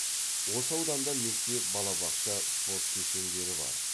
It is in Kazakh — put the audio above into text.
осы ауданда мектеп балабақша спорт кешендері бар